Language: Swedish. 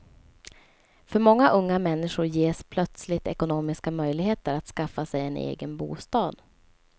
För många unga människor ges plötsligt ekonomiska möjligheter att skaffa sig en egen bostad.